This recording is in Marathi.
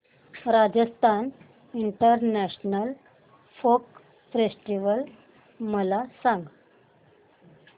राजस्थान इंटरनॅशनल फोक फेस्टिवल मला सांग